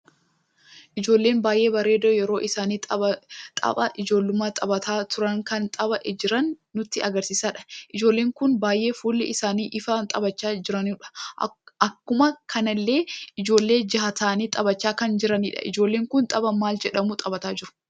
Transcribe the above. Ijoollee baay'ee bareeddu yeroo isaan taphaa ijoollumma taphaacha turre kan taphaacha jiran nutti agarsiisudha. ijoolleen kun baay'ee fuulli isaanii ife taphaacha jiranu. Akkuma kanallee ijoollee ja'a ta'ani taphaacha kan jiranidha. ijoolleen kun taphaa maal jedhamu taphaacha jiru?